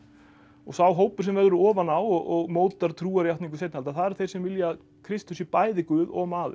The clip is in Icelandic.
sá hópur sem verður ofan á og mótar trúarjátningu seinni alda það eru þeir sem vilja að Kristur sé bæði guð og maður